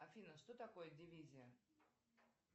афина что такое дивизия